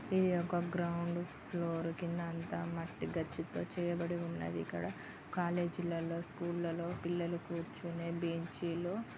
ఇది ఒక ground floor క్రింద అంత మట్టి గచ్చుతో చేయబడి ఉన్నది. ఇక్కడ కాలేజ్ లలో స్కూల్ లలో పిల్లలు కూర్చొనే బెంచీలు--